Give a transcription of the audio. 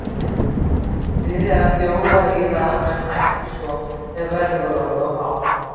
Hann byrjaði að bjóða í það en hætti svo þegar verðið var orðið of hátt.